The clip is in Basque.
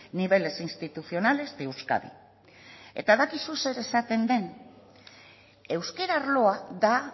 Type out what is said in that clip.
niveles institucionales de euskadi eta dakizu zer esaten den euskara arloa da